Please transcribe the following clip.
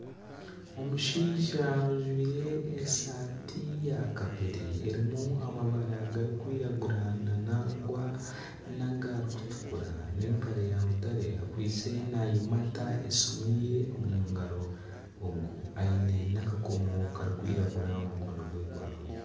Omushaija ojwaire esaati ya kapeere erimu amabara garikwiragura nangwa nagarikutukura n'empare ya mutare akwaitse nayimata esiimu ye omu ngaro ogu aine n'akakomo kirikwiragura omu mukono gwe gwa buryo.